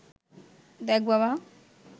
দেখ বাবা